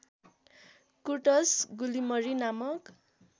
कुर्टस गुलिमरी नामक